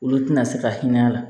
Olu tina se ka hinɛ a la